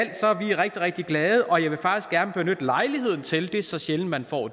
vi rigtig rigtig glade og jeg vil faktisk gerne benytte lejligheden til det er så sjældent man får